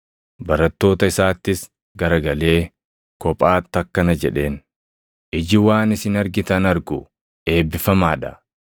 Barattoota isaattis garagalee kophaatti akkana jedheen; “Iji waan isin argitan argu eebbifamaa dha.